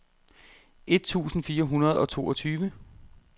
et tusind fire hundrede og toogtyve